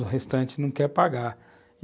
o restante não quer pagar.